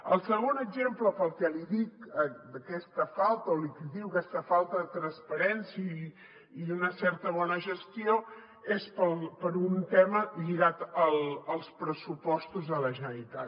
el segon exemple pel que li dic aquesta falta o li critico aquesta falta de transparència i d’una certa bona gestió és per un tema lligat als pressupostos de la generalitat